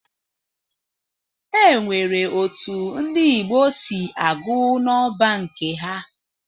E nwere otu ndị Igbo si agụ nọmba nke ha.